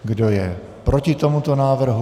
Kdo je proti tomuto návrhu?